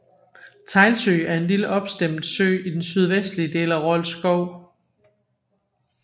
Teglsø er en lille opstemmet sø i den sydvestlige del af Rold Skov